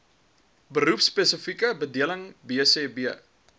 beroepspesifieke bedeling bsb